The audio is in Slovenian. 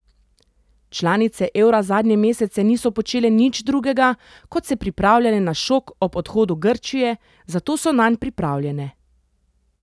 Članice evra zadnje mesece niso počele nič drugega, kot se pripravljale na šok ob odhodu Grčije, zato so nanj pripravljene.